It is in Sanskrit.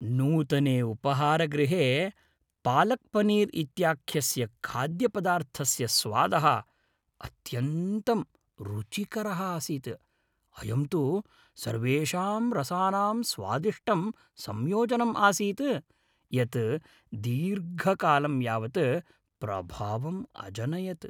नूतने उपाहारगृहे पालक्पनीर् इत्याख्यस्य खाद्यपदार्थस्य स्वादः अत्यन्तं रुचिकरः आसीत् , अयं तु सर्वेषां रसानाम् स्वादिष्टं संयोजनम् आसीत्, यत् दीर्घकालं यावत् प्रभावम् अजनयत्।